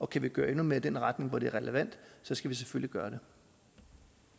kan vi gøre endnu mere i den retning hvor det er relevant så skal vi selvfølgelig gøre